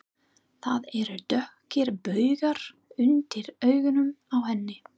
Það eru dökkir baugar undir augunum á henni.